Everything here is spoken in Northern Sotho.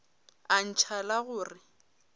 a ntšha la go re